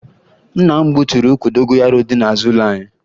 Nna m gbuturu ukwu dogoyaro dị n'azụ ụlọ anyị